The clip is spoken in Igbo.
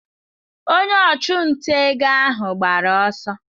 Onye ọchụnta ego ahụ gbara ọsọ.